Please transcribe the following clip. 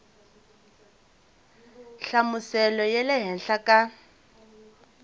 nhlamuselo ya le henhla ka